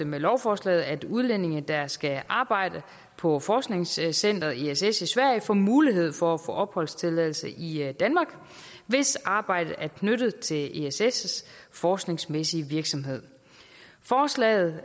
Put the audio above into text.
med lovforslaget at udlændinge der skal arbejde på forskningscenteret ess i sverige får mulighed for at få opholdstilladelse i i danmark hvis arbejdet er knyttet til ess ess forskningsmæssige virksomhed forslaget